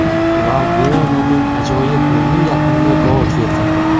Valbuenaning ajoyib o‘yini yakunda gol keltirdi.